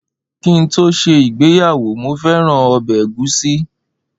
Ki n to se igbeyawo, mo feran obe egusi